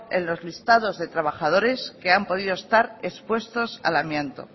en los listados de trabajadores que han podido estar expuestos al amianto